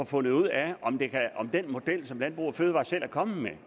fundet ud af om den model som landbrug fødevarer selv er kommet med